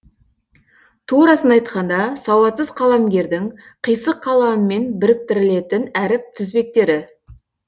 турасын айтқанда сауатсыз қаламгердің қисық қаламымен біріктірілетін әріп тізбектері